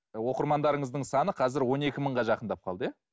оқырмандарыңыздың саны қазір он екі мыңға жақындап қалды иә